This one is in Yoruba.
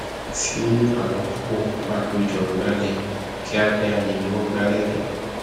tí àwọn púpọ bá pé jọ gbálẹ kíá kiá ni wọn ngbálẹ tán